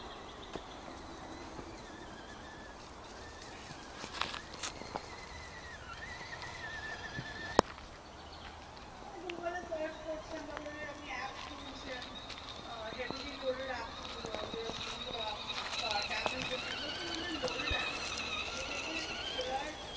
মানে google এ search করছেন বা ধরুন আপনি app খুলছেন। আহ heavily loaded app গুলো যেমন montrafilipcartamazon এগুলো আরকি মানে loaded app মানে এগুলো দেখবেন একটু খোলার